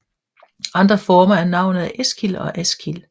Andre former af navnet er Eskil og Askild